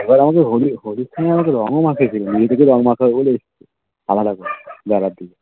একবার আমাকে হোলি হোলির দিনে রংও মাখিয়েছিল মিতু কে রং মাখবো বলে এসছে আলাদা করে বেলার দিকে